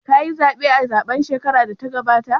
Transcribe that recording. Ka yi zaɓe a zaɓen shekarar da ta gabata?